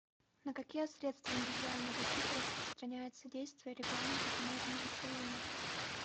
на какие средства индивидуальной защиты распространяется действие регламента таможенного союза